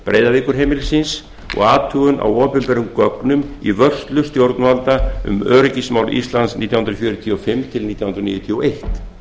breiðavíkurheimilisins og athugun á opinberum gögnum í vörslu stjórnvalda um öryggismál íslands nítján hundruð fjörutíu og fimm til nítján hundruð níutíu og eitt